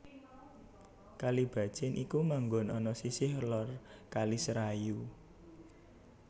Kalibacin iku manggon ana sisih lor Kali Serayu